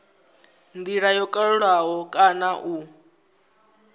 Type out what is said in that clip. ndila yo kalulaho kana u